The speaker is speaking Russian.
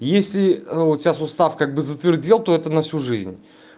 если у тебя сустав как бы затвердел то это на всю жизнь